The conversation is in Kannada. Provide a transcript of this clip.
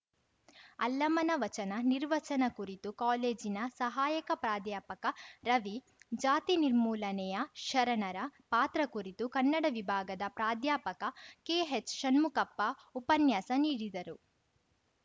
ಅಲ್ಲಮನ ವಚನ ನಿರ್ವಚನ ಕುರಿತು ಕಾಲೇಜಿನ ಸಹಾಯಕ ಪ್ರಾಧ್ಯಾಪಕ ರವಿ ಜಾತಿ ನಿರ್ಮೂಲನೆಯ ಶರಣರ ಪಾತ್ರ ಕುರಿತು ಕನ್ನಡ ವಿಭಾಗದ ಪ್ರಾಧ್ಯಾಪಕ ಕೆಹೆಚ್‌ಷಣ್ಮುಖಪ್ಪ ಉಪನ್ಯಾಸ ನೀಡಿದರು